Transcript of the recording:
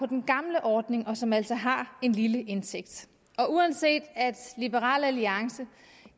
den gamle ordning og som altså har en lille indtægt uanset at liberal alliance